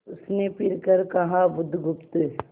उसने फिर कर कहा बुधगुप्त